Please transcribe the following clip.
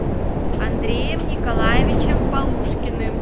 андреем николаевичем полушкиным